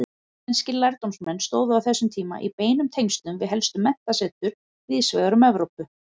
Íslenskir lærdómsmenn stóðu á þessum tíma í beinum tengslum við helstu menntasetur víðsvegar um Evrópu.